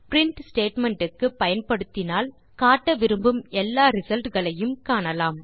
print statement ஐ பயன்படுத்தினால் காட்ட விரும்பும் எல்லா ரிசல்ட் களையும் காணலாம்